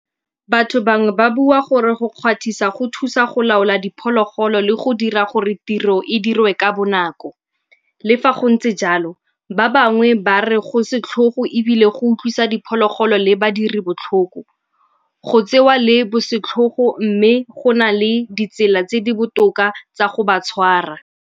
Batho bangwe ba bua gore go kgwathisa go thusa go laola diphologolo le go dira gore tiro e dirwe ka bonako. Le fa go ntse jalo ba bangwe ba re go setlhogo ebile go utlwisa diphologolo le badiri botlhoko. Go tsewa le bosetlhogo mme go na le ditsela tse di botoka tsa go ba tshwara.